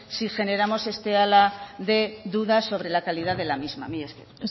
si generamos este ala de dudas sobre la calidad de la misma mila esker